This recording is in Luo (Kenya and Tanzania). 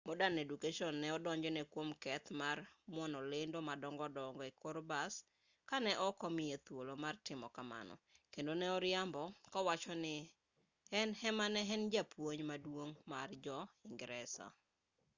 modern education ne odonjone kwom keth mar muono lendo madongo dongo e kor bas ka ne ok omiye thuolo mar timo kamano kendo ne oriambo kowacho ni en ema ne en japuonj maduong' mar dho-ingresa